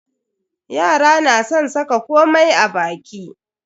Yara na san saka komai a baki.